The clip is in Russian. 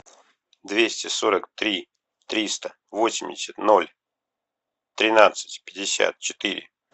двести сорок три триста восемьдесят ноль тринадцать пятьдесят четыре